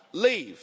leave.